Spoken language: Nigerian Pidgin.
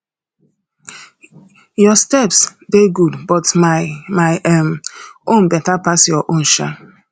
your steps dey good but my my um own beta pass your own um